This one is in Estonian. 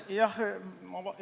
Aitäh!